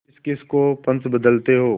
किसकिस को पंच बदते हो